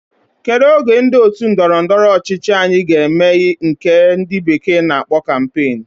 Kedu oge ndi otu ndọrọ ndọrọ ọchịchị anyi ga eme nke ndi bekee na akpo campaign?